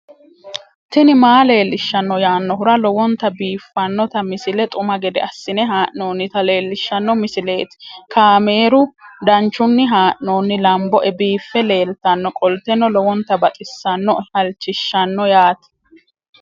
tini maa leelishshanno yaannohura lowonta biiffanota misile xuma gede assine haa'noonnita leellishshanno misileeti kaameru danchunni haa'noonni lamboe biiffe leeeltannoqolten lowonta baxissannoe halchishshanno yaate